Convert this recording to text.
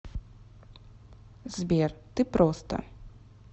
сбер ты просто